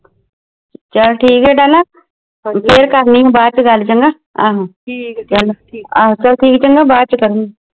ਚਲ ਠੀਕ ਆ ਡਾਲਾ ਫਿਰ ਕਰਲੀ ਬਾਦ ਚ ਗਲ ਚੰਗਾ ਚਲ ਠੀਕ ਚੰਗਾ ਬਾਦ ਚ ਕਰਲੀ